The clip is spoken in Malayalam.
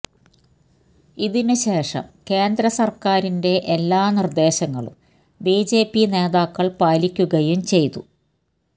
ഇതിനു ശേഷം കേന്ദ്രസര്ക്കാരിന്റെ എല്ലാ നിര്ദ്ദേശങ്ങളും ബിജെപി നേതാക്കള് പാലിക്കുകയും ചെയ്തു